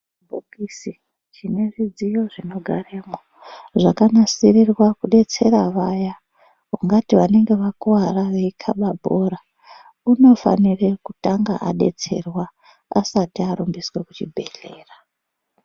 chibhokisi chine zvidziyo zvinogaremwo zvakanasirirwa kudetsera vaya, ungati vanenge vakuwara veikaba bhora unofanire kutanga adetserwa asati arumbiswa kuchibhedhlera.